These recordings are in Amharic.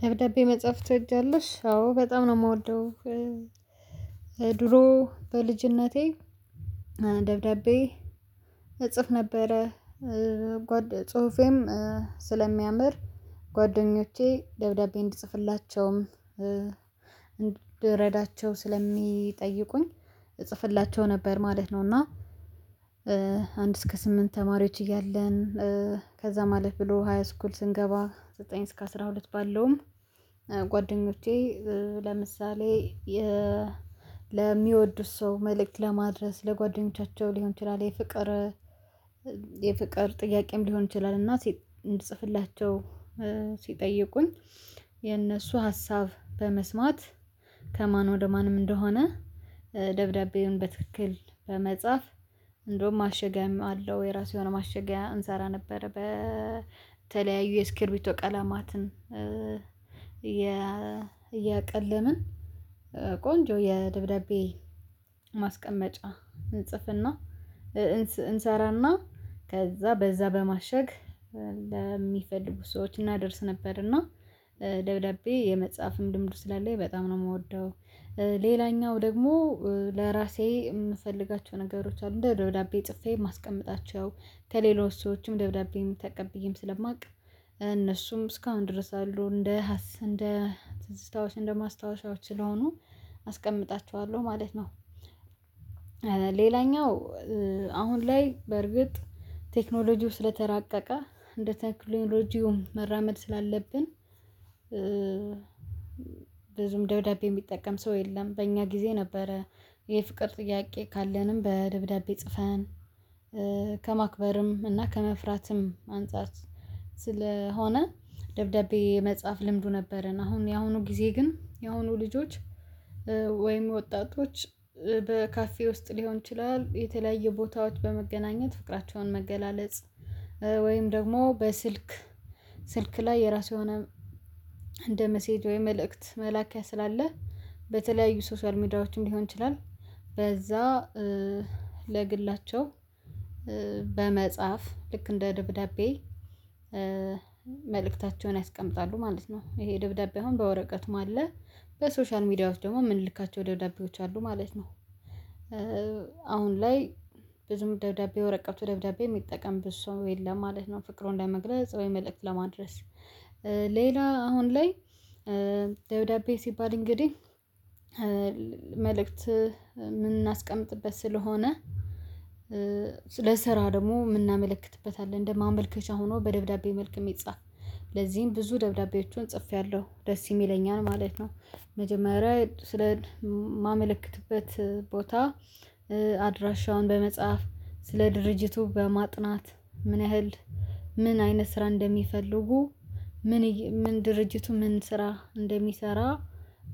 ደብዳቤ መጽሐፍ ትወጃለሽ? አዎ በጣም ነው የምወደው። ድሮ በልጅነቴ ደብዳቤ እጽፍ ነበረ ጽሁፌም ስለሚያምር ጓደኞቼ ደብዳቤ እንድጽፍላቸውም እንድረዳቸው ስለሚጠይቁኝ እጽፍላቸው ነበር ማለት ነው። እና አንድ እስከ ስምንት ተማሪዎች እያለን ከዛ ማለት ብሎ ሃይ ስኩል ስንገባ ዘጠኝ እስከ አስራ ሁለት ባለውም ጓደኞቼ ለምሳሌ ለሚወዱት ሰው መልእክት ለማድረስ ለጓደኞቻቸው ሊሆን ይችላል። የፍቅር የፍቅር ጥያቄም ሊሆን ይችላል። እና ሴት እንድጽፍላቸው ሲጠይቁኝ የነሱ ሀሳብ በመስማት ከማን ወደ ማንም እንደሆነ ደብዳቤውን በትክክል በመጻፍ እንደውም ማሸጊያም አለው የራሱ የሆነ ማሸጊያ እንሰራ ነበር። በተለያዩ የስክርቢቶ ቀላማትን እያቅልምን ቆንጆ የደብዳቤ ማስቀመጫ እንጽፍና እንሰራና ከዛ በዛ በማሸግ ለሚፈልጉ ሰዎች እናደርስ ነበር። እና ደብዳቤ የመጻፍም ልምዱ ስላለኝ በጣም ነው የምወደው። ሌላኛው ደግሞ ለራሴ የምፈልጋቸው ነገሮች አሉ እንደ ደብዳቤ ጽፌ የማስቀምጣቸው ከሌሎች ሰዎችም ደብዳቤም ተቀብዬም ስለማውቅ እነሱም እስካሁን ድረስ አሉ እንደ እንደ ትዝታዎች እንደ ማስታወሻዎች ስለሆኑ አስቀምጣችኋለሁ ማለት ነው። ሌላኛው አሁን ላይ በርግጥ ቴክኖሎጂው ስለተራቀቀ እንደ ቴክኖሎጂውም መራመድ ስላለብን ብዙም ደብዳቤ የሚጠቀም ሰው የለም በእኛ ጊዜ ነበረ። የፍቅር ጥያቄ ካለንም በደብዳቤ ጽፈን ከማክበርም እና ከመፍራትም አንፃር ስለሆነ ደብዳቤ የመጽሐፍ ልምዱ ነበረን። አሁን ያሁኑ ጊዜ ግን ያሁኑ ልጆች ወይም ወጣቶች በካፌ ውስጥ ሊሆን ይችላል የተለያየ ቦታዎች በመገናኘት ፍቅራቸውን መገላለጽ። ወይም ደግሞ በስልክ ስልክ ላይ የራሱ የሆነ እንደ ሚሴጅ ወይም መልእክት መላኪያ ስላለ በተለያዩ ሶሻል ሚዲያዎችን ሊሆን ይችላል። በዛ ለግላቸው በመጻፍ ልክ እንደ ደብዳቤ መልእክታቸውን ያስቀምጣሉ ማለት ነው። ይሄ ደብዳቤ አሁን በወረቀቱም አለ በሶሻል ሚዲያ ውስጥ ደግሞ የምንልካቸው ደብዳቤዎች አሉ ማለት ነው። አሁን ላይ ብዙም ደብዳቤ ወረቀቱ ደብዳቤ የሚጠቀም ብዙ ሰው የለም ማለት ነው። ፍቅሩን ለመግለጽ ወይ መልእክት ለማድረስ ሌላ አሁን ላይ ደብዳቤ ሲባል እንግዲህ መልእክት የምናስቀምጥበት ስለሆነ ለስራ ደግሞ የምናመለክትበት አለ። እንደ ማመልከቻ ሆኖ በደብዳቤ መልኩ የሚጻፍ ለዚህም ብዙ ደብዳቤዎቹን ጽፌያለሁ ደስ የሚለኝ ነው ማለት ነው። መጀመሪያ ስለ ማመልከትበት ቦታ አድራሻውን በመጽሐፍ ስለ ድርጅቱ በማጥናት ምን ያህል ምን አይነት ስራ እንደሚፈልጉ ምን ምን ድርጅቱ ምን ስራ እንደሚሰራ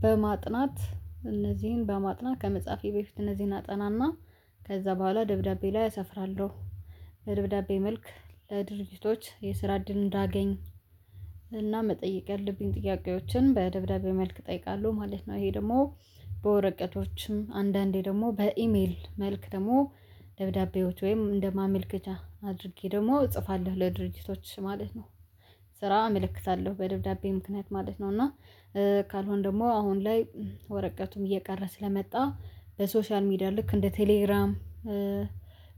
በማጥናት እነዚህን በማጥናት ከመጻፌ በፊት እነዚህን አጠናና ከዛ በኋላ ደብዳቤ ላይ አሰፍራለሁ። ደብዳቤ መልክ ለድርጅቶች የስራ እድል እንዳገኝ እና መጠየቅ ያለብኝ ጥያቄዎችን በደብዳቤ መልክ እጠይቃለሁ ማለት ነው። ይሄ ደግሞ በወረቀቶችም አንዳንዴ ደግሞ በኢሜል መልክ ደግሞ ደብዳቤዎች ወይም እንደማመልከቻ አድርጌ ደግሞ እጽፋለሁ ለድርጅቶች ማለት ነው። ስራ እመለከታለሁ በደብዳቤ ምክንያት ማለት ነው እና ካልሆነ ደግሞ አሁን ላይ ወረቀቱም እየቀረ ስለመጣ በሶሻል ሚዲያ ልክ እንደ ቴሌግራም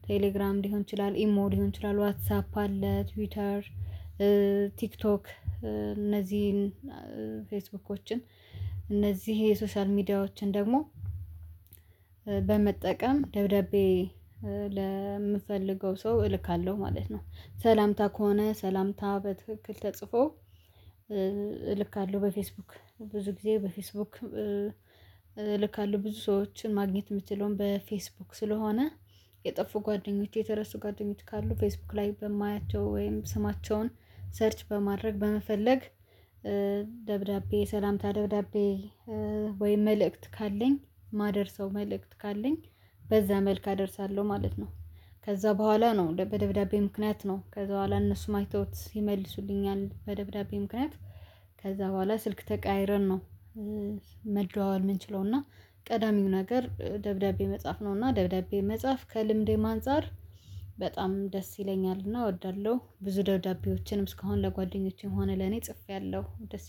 ቴሌግራም ሊሆን ይችላል ኢሞ ሊሆን ይችላል ዋትሳፕ አለ። ትዊተር ቲክቶክ እነዚህን ፌስቡኮችን እነዚህ የሶሻል ሚዲያዎችን ደግሞ በመጠቀም ደብዳቤ ለምፈልገው ሰው እልካለሁ ማለት ነው። ሰላምታ ከሆነ ሰላምታ በትክክል ተጽፎ ልካለሁ በፌስቡክ ብዙ ጊዜ በፌስቡክ ልካለሁ ብዙ ሰዎችን ማግኘት የምትለውን በፌስቡክ ስለሆነ የጠፉ ጓደኞች የተረሱ ጓደኞች ካሉ ፌስቡክ ላይ በማያቸው ወይም ስማቸውን ሰርች በማድረግ በመፈለግ። ደብዳቤ ሰላምታ ደብዳቤ ወይ መልእክት ካለኝ ማደርሰው መልእክት ካለኝ በዛ መልኩ አደርሳለሁ ማለት ነው። ከዛ በኋላ ነው በደብዳቤ ምክንያት ነው ከዛ በኋላ እነሱም አይተውት ይመልሱልኛል በደብዳቤ ምክንያት ከዛ በኋላ ስልክ ተቀይረን ነው። መደዋወል የምንችለው እና ቀዳሚው ነገር ደብዳቤ መጻፍ ነው። እና ደብዳቤ መጻፍ ከልምዴ ማንፃር በጣም ደስ ይለኛልና እወዳለሁ ብዙ ደውዳቤዎችንም እስካሁን ለጓደኞቼ መሆን ለኔ ጽፌያለሁ።